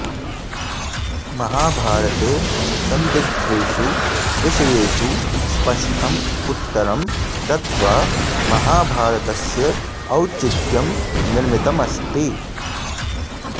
महाभारते संदिग्धेषु विषयेषु स्पष्टं उत्तरं दत्त्वा महाभारतस्य औचित्यं निर्मितमस्ति